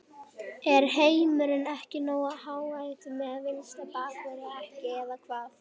Er heimurinn ekki nógu ánægður með vinstri bakvörðinn okkar eða hvað?